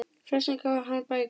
Flestum gaf hann bækur.